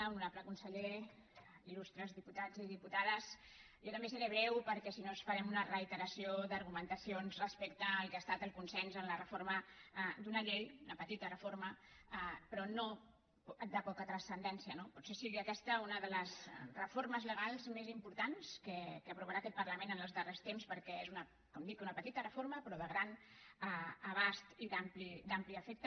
honorable conseller il·lustres diputats i diputades jo també seré breu perquè si no farem una reiteració d’argumentacions respecte al que ha estat el consens en la reforma d’una llei una petita reforma però no de poca transcendència no potser sigui aquesta una de les reformes legals més importants que aprovarà aquest parlament en els darrers temps perquè és com dic una petita reforma però de gran abast i d’ampli efecte